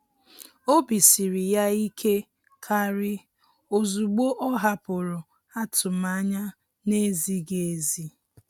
Obi siri ya ike kàrị́ ozugbo ọ́ hàpụ̀rụ̀ atụmanya nà-ézíghị́ ézí.